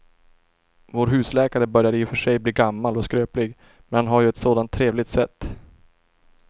Vår husläkare börjar i och för sig bli gammal och skröplig, men han har ju ett sådant trevligt sätt!